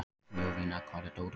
Jovina, hvar er dótið mitt?